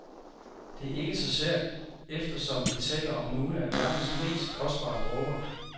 Det er ikke så sært, eftersom vi taler om nogle af verdens mest kostbare dråber.